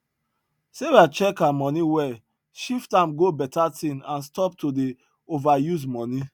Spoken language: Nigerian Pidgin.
sarah check her moni well shift am go better thing and stop to dey ova use money